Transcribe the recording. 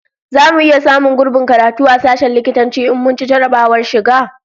Zamu iya samun gurbin karatu a sashen likitanci in mun ci jarrabawar shiga?